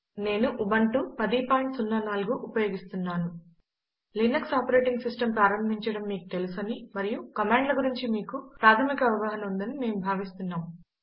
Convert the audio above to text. నేను ఉబంటు 1004 ఉపయోగిస్తున్నాను Linux operating system ప్రారంభించడం మీకు తెలుసని మరియు కమాండ్ల గురించి మీకు ప్రాధమిక అవగాహన ఉందని మేము భావిస్తున్నాము